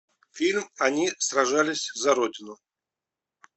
фильм они сражались за родину